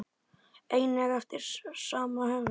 einnig eftir sama höfund.